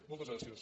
moltes gràcies